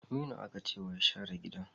Aminu aka ce ya share gidan!